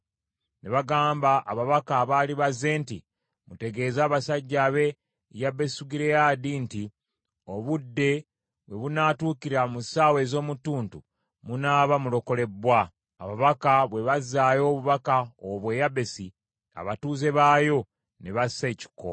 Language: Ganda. Ne bagamba ababaka abaali bazze nti, “Mutegeeze abasajja ab’e Yabesugireyaadi nti, ‘Obudde we bunaatuukira mu ssaawa ez’omu ttuntu, munaaba mulokolebbwa.’ ” Ababaka bwe bazzaayo obubaka obwo e Yabesi, abatuuze baayo ne bassa ekikkowe.